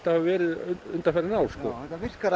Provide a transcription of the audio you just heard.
hefur verið undanfarin ár já þetta virkar